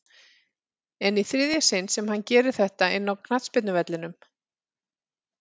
En í þriðja sinn sem hann gerir þetta inná knattspyrnuvellinum?